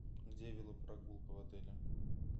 где велопрогулка в отеле